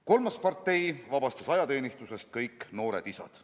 Kolmas partei vabastas ajateenistusest kõik noored isad.